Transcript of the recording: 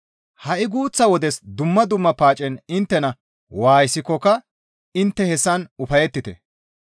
Ha7i guuththa wodes dumma dumma paacetti inttena waayisikkoka intte hessan ufayettite.